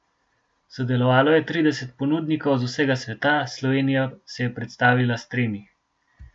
Sodelovalo je trideset ponudnikov z vsega sveta, Slovenija se je predstavila s tremi.